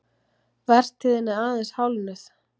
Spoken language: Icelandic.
Vertíðin er aðeins hálfnuð